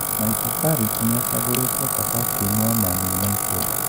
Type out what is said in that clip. Michael Carrick niacaguritwo ta captain wa Man United.